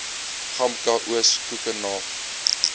gamka oos koekenaap